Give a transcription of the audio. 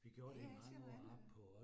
Ja ja ser noget andet